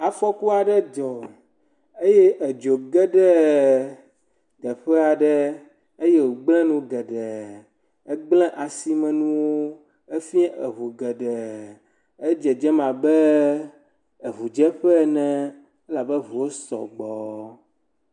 Afɔku aɖe dzɔ eye edzo ge ɖe teƒe aɖe eye wogble nu geɖe. Egble asime nuwo. Efia eŋu geɖe. edzedzem abe eŋudzeƒe ene elabe eŋuwo sɔgbɔ.